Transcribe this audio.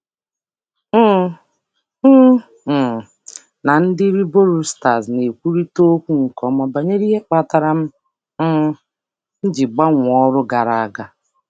um M um na ndị riboruiters na-ekwurịta okwu nke ọma banyere ihe kpatara m um ji gbanwee ọrụ gara aga.